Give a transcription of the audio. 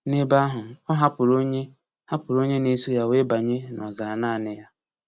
N’ebe ahụ, o hapụrụ onye hapụrụ onye na-eso ya wee banye n’ọzara naanị ya.